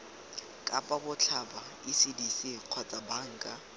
kapa botlhaba ecdc kgotsa banka